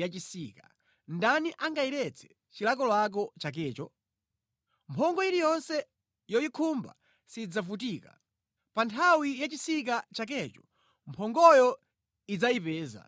yachisika. Ndani angayiretse chilakolako chakecho? Mphongo iliyonse yoyikhumba sidzavutika. Pa nthawi yachisika chakecho mphongoyo idzayipeza.